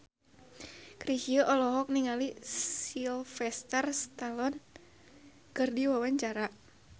Chrisye olohok ningali Sylvester Stallone keur diwawancara